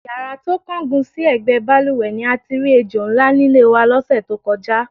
Yàrá tó kángun sí è̩gbé̩ balùwè̩ ni a ti rí ejò ńlá nílé wa ló̩sè̩ tó ko̩já.